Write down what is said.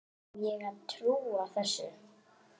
Á ég að trúa þessu?